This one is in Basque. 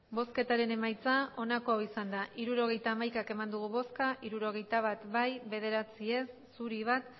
hirurogeita hamaika eman dugu bozka hirurogeita bat bai bederatzi ez bat zuri